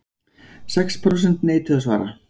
Sex prósent neituðu að svara